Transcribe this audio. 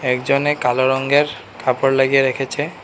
একজনে কালো রঙ্গের কাপড় লাগিয়ে রেখেছে।